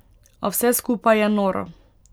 A vse skupaj je noro.